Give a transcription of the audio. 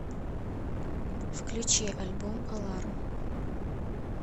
включи альбом аларм